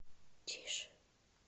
тише